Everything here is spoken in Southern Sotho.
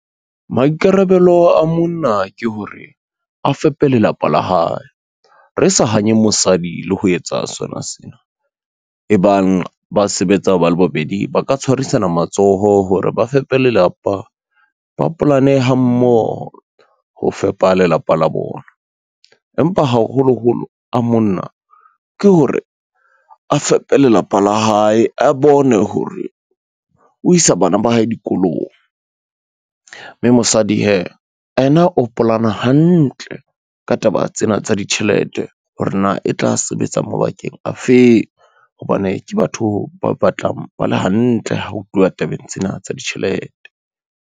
Maikarabelo a monna ke hore a fepe lelapa la hae re sa hanye mosadi le ho etsa sona sena. E bang ba sebetsa ba le bobedi, ba ka tshwarisana matsoho hore ba fepe lelapa, ba polane ha mmoho ho fepa lelapa la bona, empa haholoholo a monna, ke hore a fepe lelapa la hae a bone hore o isa bana ba hae dikolong. Mme mosadi hee yena o polana hantle ka taba tsena tsa ditjhelete, hore na e tla sebetsa mabakeng afeng hobane ke batho ba batlang ba le hantle ha ho tluwa tabeng tsena tsa ditjhelete.